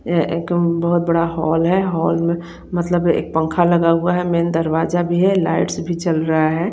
एक बहोत बड़ा होल है होल में मत्लभ एक पंखा लगा हुआ है में दरवाजा भी है एक लाइट्स भी जल रहा है।